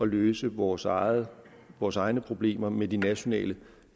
løse vores egne vores egne problemer med de nationale